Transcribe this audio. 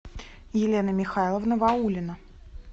елена михайловна ваулина